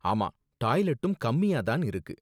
ஆமா, டாய்லெட்டும் கம்மியா தான் இருக்கு.